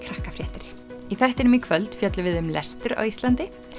þættinum í kvöld fjöllum við um lestur á Íslandi